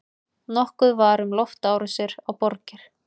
Nokkuð var um loftárásir á borgir.